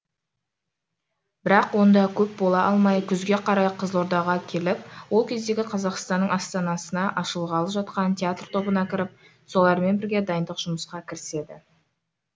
бірақ онда көп бола алмай күзге қарай қызылордаға келіп ол кездегі қазақстанның астанасында ашылғалы жатқан театр тобына кіріп солармен бірге дайындық жұмысқа кіріседі